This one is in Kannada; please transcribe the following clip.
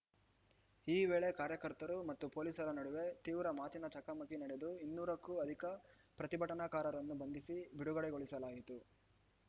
ಈ ವೇಳೆ ಕಾರ್ಯಕರ್ತರು ಮತ್ತು ಪೊಲೀಸರ ನಡುವೆ ತೀವ್ರ ಮಾತಿನ ಚಕಮಕಿ ನಡೆದು ಇನ್ನೂರಕ್ಕೂ ಅಧಿಕ ಪ್ರತಿಭಟನಾಕಾರರನ್ನು ಬಂಧಿಸಿ ಬಿಡುಗಡೆಗೊಳಿಸಲಾಯಿತು